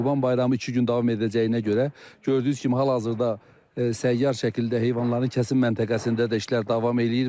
Qurban Bayramı iki gün davam edəcəyinə görə, gördüyünüz kimi hal-hazırda səyyar şəkildə heyvanların kəsim məntəqəsində də işlər davam eləyir.